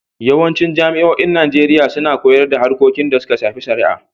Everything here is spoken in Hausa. Yawancin jami'oin Najeriya suna koyar da harkokin da suka shafi shari'a.